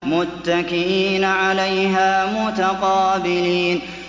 مُّتَّكِئِينَ عَلَيْهَا مُتَقَابِلِينَ